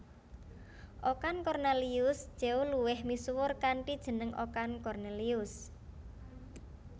Okan Kornelius Tjeuw luwih misuwur kanthi jeneng Okan Cornelius